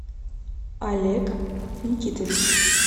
олег никитович